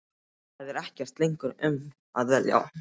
Það er ekkert lengur um að velja.